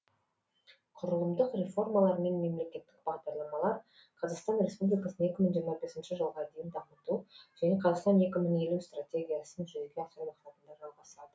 құрылымдық реформалар мен мемлекеттік бағдарламалар қазақстан республикасын екі мың жиырма бесінші жылға дейін дамыту және қазақстан екі мың елу стратегиясын жүзеге асыру мақсатында жалғасады